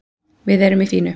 Við erum í fínu